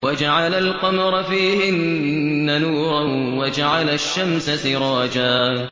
وَجَعَلَ الْقَمَرَ فِيهِنَّ نُورًا وَجَعَلَ الشَّمْسَ سِرَاجًا